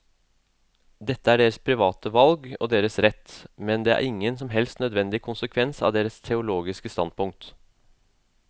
Dette er deres private valg og deres rett, men det er ingen som helst nødvendig konsekvens av deres teologiske standpunkt.